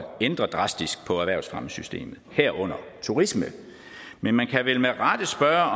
ændre på erhvervsfremmesystemet herunder turisme men man kan vel med rette spørge